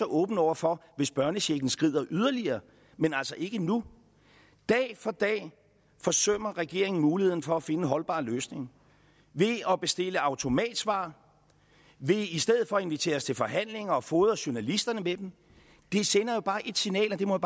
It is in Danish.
åben over for hvis børnechecken skrider yderligere men altså ikke nu dag for dag forsømmer regeringen muligheden for at finde en holdbar løsning ved at bestille automatsvar og ved i stedet for at invitere os til forhandlinger at fodre journalisterne med dem det sender jo bare ét signal det må